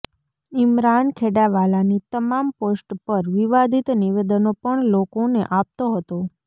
ઇમરાન ખેડાવાલાની તમામ પોસ્ટ પર વિવાદિત નિવેદનો પણ લોકોને આપતો હતો